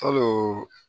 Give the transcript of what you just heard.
Kalo